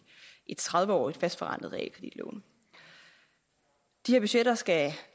et tredive årig t fast forrentet realkreditlån de her budgetter skal